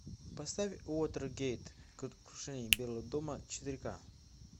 поставь уотергейт крушение белого дома четыре ка